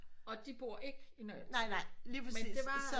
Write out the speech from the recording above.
Og de bor ikke i